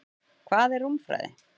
Hvað er rúmfræði?